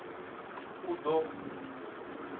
uḓo